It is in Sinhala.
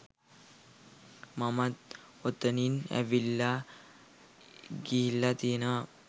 මමත් ඔතනින් ඇවිල්ලා ගිහිල්ල තියෙනවා